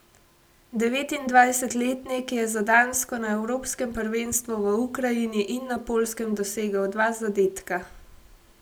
Devetindvajsetletnik je za Dansko na evropskem prvenstvu v Ukrajini in na Poljskem dosegel dva zadetka.